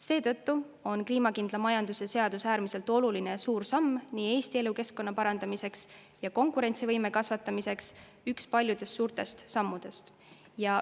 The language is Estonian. Seetõttu on kliimakindla majanduse seadus äärmiselt oluline ja suur samm Eesti elukeskkonna parandamiseks ja konkurentsivõime kasvatamiseks, üks paljudest suurtest sammudest.